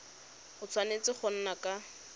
a tshwanetse go nna ka